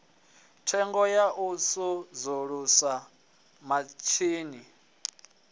thengo ya u sudzulusa mitshini